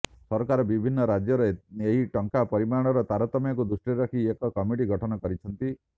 ସରକାର ବିଭିନ୍ନ ରାଜ୍ୟରେ ଏହି ଟଙ୍କାର ପରିମାଣରେ ତାରତମ୍ୟକୁ ଦୃଷ୍ଟିରେ ରଖି ଏକ କମିଟି ଗଠନ କରିଛନ୍ତି